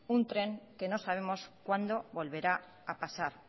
un tren que no sabemos cuándo volverá a pasar